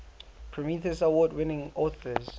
prometheus award winning authors